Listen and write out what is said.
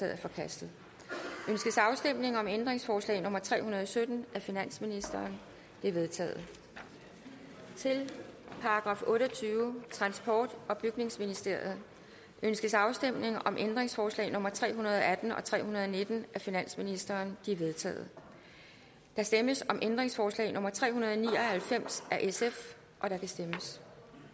er forkastet ønskes afstemning om ændringsforslag nummer tre hundrede og sytten af finansministeren det er vedtaget til § otteogtyvende transport og bygningsministeriet ønskes afstemning om ændringsforslag nummer tre hundrede og atten og tre hundrede og nitten af finansministeren de er vedtaget der stemmes om ændringsforslag nummer tre hundrede og ni og halvfems af sf og der kan stemmes